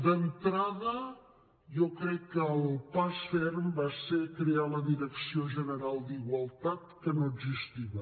d’entrada jo crec que el pas ferm va ser crear la direcció general d’igualtat que no existia